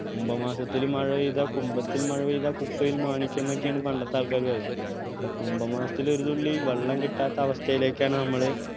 കുംഭമാസത്തിൽ മഴപെയ്താൽ കുംഭത്തിൽ മഴപെയ്താൽ കുപ്പയിൽ മാണിക്യം എന്നൊക്കെയാണ് പണ്ടത്തെ ആൾക്കാര് പറയുവ ഇവിടെ കുംഭമാസത്തിൽ ഒരു തുള്ളി വെള്ളം കിട്ടാത്ത അവസ്ഥയിലേക്കാണ് നമ്മള്